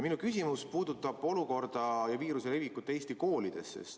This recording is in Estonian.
Minu küsimus puudutab olukorda ja viiruse levikut Eesti koolides.